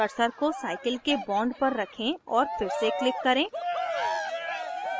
cursor को cycle के bond पर रखें और फिर से click करें